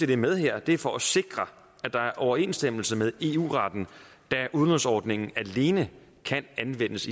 det er med her er for at sikre at der er overensstemmelse med eu retten da udlånsordningen i alene kan anvendes